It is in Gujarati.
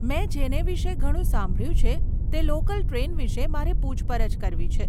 મેં જેને વિષે ઘણું સાંભળ્યું છે તે લોકલ ટ્રેન વિષે મારે પુછપરછ કરવી છે.